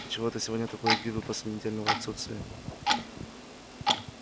ты чего это сегодня такой игривый после недельного отсутствия